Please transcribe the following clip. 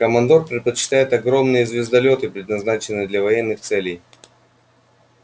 командор предпочитает огромные звездолёты предназначенные для военных целей